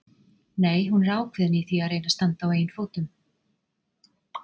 Nei, hún er ákveðin í því að reyna að standa á eigin fótum.